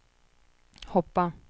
hoppa